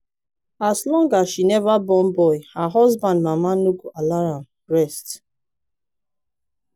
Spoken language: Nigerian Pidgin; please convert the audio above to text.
as long as she never born boy her husband mama no go allow am rest